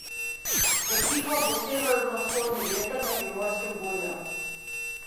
Zapihal bo severovzhodni veter, na Primorskem burja.